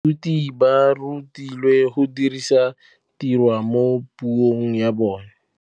Baithuti ba rutilwe go dirisa tirwa mo puong ya bone.